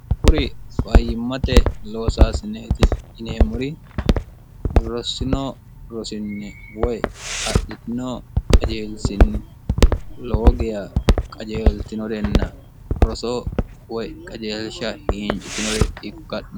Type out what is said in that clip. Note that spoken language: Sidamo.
kuri fayimmate loosaasineeti ineemmuri rosinoo rosinni woy adhitinoo qajeelsinni loogiya qajeeltinorenna rosoo woy qajeelsha hiincitinore ikkanon